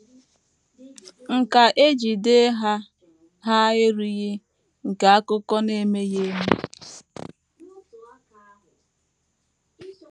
“ Nkà e ji dee ha ha erughị nke akụkọ na - emeghị eme....